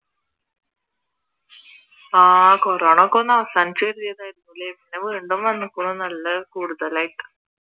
ആഹ് കോറോണയൊക്കെ ഒന്ന് അവസാനിച്ചു അല്ലെ ഇപ്പൊ വീണ്ടും വന്നിക്കുണു നല്ല കൂടുതലായിട്ട്